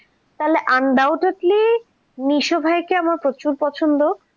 তাহলে undoubtly মিশুভাইকে আমার প্রচুর পছন্দ and মিশু ভাইয়ের